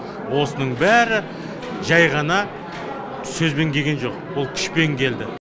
осының бәрі жай ғана сөзбен келген жоқ ол күшпен келді